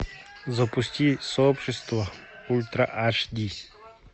запусти сообщество ультра аш ди